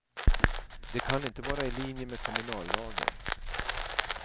Det kan inte vara i linje med kommunallagen.